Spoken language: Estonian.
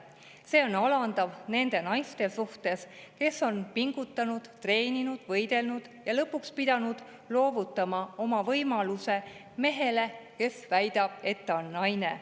See on alandav nende naiste suhtes, kes on pingutanud, treeninud, võistelnud ja lõpuks pidanud loovutama oma võimaluse mehele, kes väidab, et ta on naine.